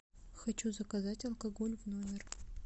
хочу заказать алкоголь в номер